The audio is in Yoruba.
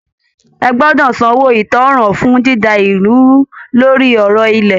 Ẹ gbọ́dọ̀ sanwó ìtanràn fún dída ìlú rú lórí ọ̀rọ̀ ilẹ̀!